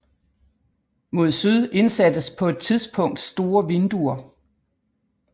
Mod syd indsattes på et tidspunkt store vinduer